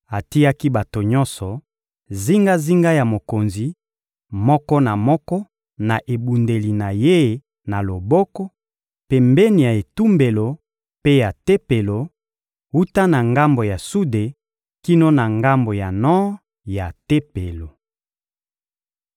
Atiaki bato nyonso zingazinga ya mokonzi, moko na moko na ebundeli na ye na loboko, pembeni ya etumbelo mpe ya Tempelo, wuta na ngambo ya sude kino na ngambo ya nor ya Tempelo.